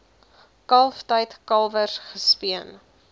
kalftyd kalwers gespeen